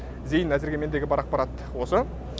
зейін әзірге мендегі бар ақпарат осы